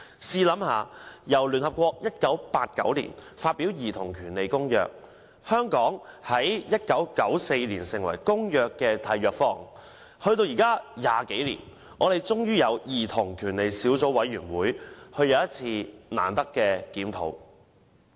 試想想，聯合國在1989年發表《公約》，香港在1994年成為《公約》的締約方，至今已20多年，我們才終於成立兒童權利小組委員會，有一次難得的檢討。